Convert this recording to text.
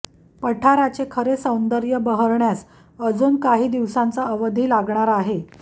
पठाराचे खरे सौंदर्य बहरण्यास अजून काही दिवसांचा अवधी लागणार आहे